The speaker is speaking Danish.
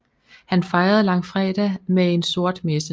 Han fejrede langfredag med en sort messe